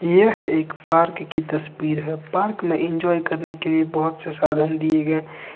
यह एक पार्क की तस्वीर है पार्क में इंजॉय करने के लिए बहोत से साधन दिए गए--